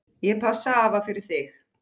Ég passa afa fyrir þig.